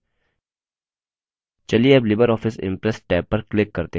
चलिए tab libreoffice impress tab पर click करते हैं